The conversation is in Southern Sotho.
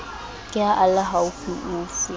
ke ha a le haufiufi